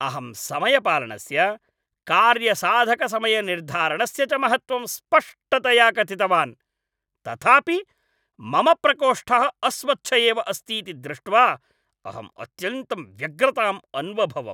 अहं समयपालनस्य, कार्यसाधकसमयनिर्धारणस्य च महत्त्वं स्पष्टतया कथितवान् । तथापि मम प्रकोष्ठः अस्वच्छ एव अस्तीति दृष्ट्वा अहम् अत्यन्तं व्यग्रताम् अन्वभवम् ।